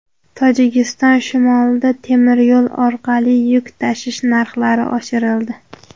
Tojikiston shimolida temir yo‘l orqali yuk tashish narxlari oshirildi.